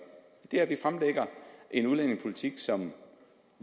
er at den fremlægger en udlændingepolitik som